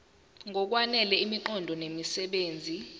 ngokwanele imiqondo nemisebenzi